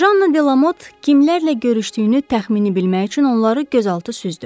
Janna Delamot kimlərlə görüşdüyünü təxmini bilmək üçün onları gözaltı süzdü.